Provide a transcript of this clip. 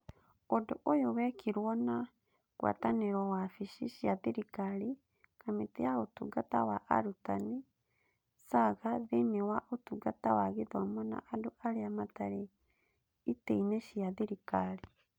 Ũndũ ũyũ wekirwo na ngwatanĩro wabici cia thirikari, Kamĩtĩ ya Ũtungata wa Arutani, SAGA thĩinĩ wa Ũtungata wa Gĩthomo na andũ arĩa matarĩ itĩ-inĩ cia thirikari.